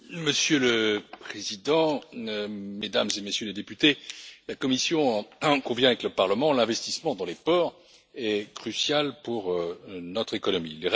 Madame la Présidente, Mesdames et Messieurs les députés, la Commission est d'accord avec le Parlement, l'investissement dans les ports est crucial pour notre économie.